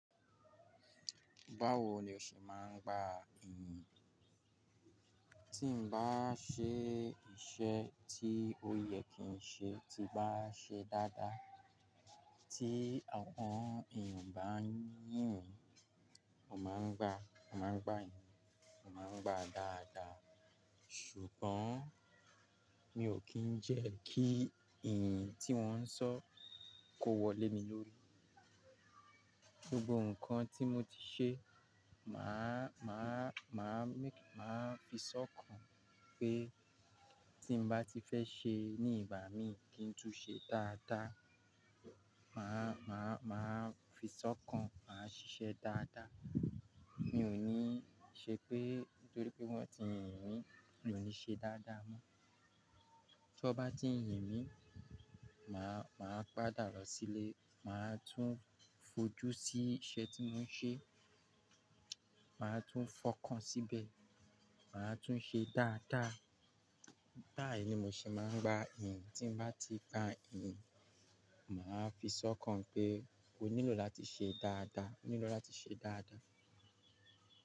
Báwo ni o ṣe máa ń gba ìyìn? Tí n bá ṣe iṣẹ́ tí ó yẹ kí n ṣe ti bá ṣe dáadáa, tí àwọn èèyàn bá ń yìn mí, mo máa ń gba, mo máa ń gba ìyìn, mo máa ń gba dáadáa. Ṣùgbọ́n mi ò kí ń jẹ́ kí ìyìn tí wọ́n ń sọ kó wọlé mi lórí. Gbogbo nǹkan tí mo ti ṣe, màá, màá, màá fi sọ́kàn pé tí mo bá ti fẹ́ ṣe ní ìgbà mí kí n tún ṣe dáadáa. Màá, màá, màá fi sọ́kàn, màá ṣíṣe dáadáa. Mi ò ní ṣe pé nítorí pé wọ́n ti ń yìn mí mi ò ní ṣe dáadáa mọ́. Tí wọ́n bá ti ń yìn mí, màá, màá padà lọ sílé, màá tún fojú sí iṣẹ́ tí mò ń ṣe, màá tún fọkàn síbẹ̀, màá tún ṣe dáadáa. Báyìí ni mo ṣe máa ń gba ìyìn. Tí n bá ti gba ìyìn, màá fi sọ́kàn pé ó nílò láti ṣe dáadáa, ó nílò láti ṣe dáadáa.